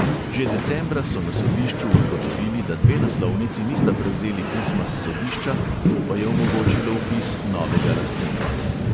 Že decembra so na sodišču ugotovili, da dve naslovnici nista prevzeli pisma s sodišča, to pa je omogočilo vpis novega lastnika.